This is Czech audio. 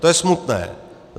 To je smutné.